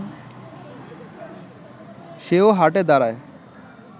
সেও হাঁটে, দাঁড়ায়